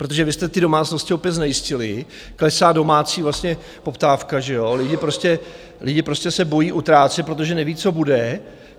Protože vy jste ty domácnosti opět znejistili, klesá domácí vlastně poptávka, že jo, lidi prostě se bojí utrácet, protože neví, co bude.